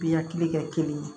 Bi hakili kɛ kelen ye